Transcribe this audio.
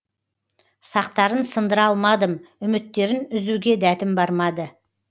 сақтарын сындыра алмадым үміттерін үзуге дәтім бармады